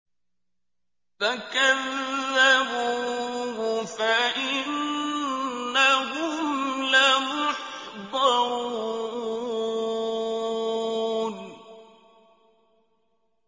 فَكَذَّبُوهُ فَإِنَّهُمْ لَمُحْضَرُونَ